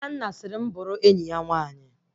Nnanna sịrị bụ bụrụ enyi ya nwaanyị